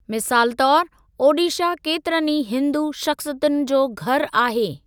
मिसालु तौर, ओडीशा केतिरनि ई हिन्दू शख़्सियतुनि जो घरु आहे।